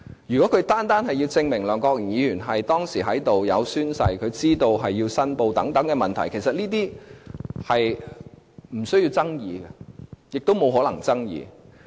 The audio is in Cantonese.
如果律政司單單要證明梁國雄議員當時有出席會議、有宣誓、是否知道要作出申報等問題，其實這些是無須爭議，亦無可能爭議的。